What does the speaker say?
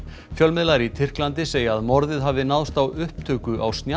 fjölmiðlar í Tyrklandi segja að morðið hafi náðst á upptöku á